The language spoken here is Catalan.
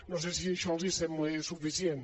no sé si això els sembla suficient